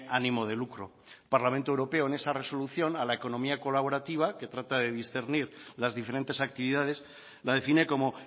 ánimo de lucro el parlamento europeo en esa resolución a la economía colaborativa que trata de discernir las diferentes actividades la define como